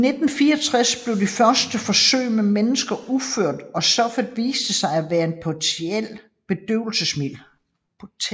I 1964 blev de første forsøg med mennesker udført og stoffet viste sig at være et potent bedøvelsesmiddel